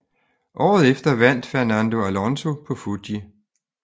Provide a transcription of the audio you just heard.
Året efter vandt Fernando Alonso på Fuji